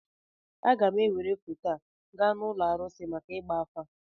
Aga m ewere foto a gaa n'ụlọ arụsị maka ịgba afa